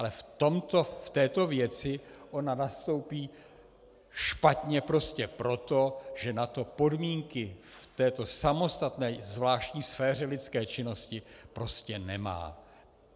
Ale v této věci ona nastoupí špatně prostě proto, že na to podmínky v této samostatné zvláštní sféře lidské činnosti prostě nemá.